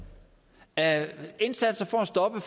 af indsatser for at stoppe